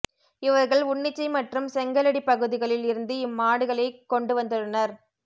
இவர்கள் உன்னிச்சை மற்றும் செங்கலடிப் பகுதிகளில் இருந்து இம் மாடுகளைக் கொண்டுவந்துள்ளனர்